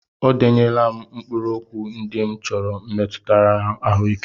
O denyela m mkpụrụokwu ndị m chọrọ metụtara ahụike.